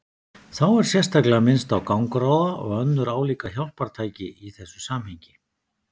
Þá er sérstaklega minnst á gangráða og önnur álíka hjálpartæki í þessu samhengi.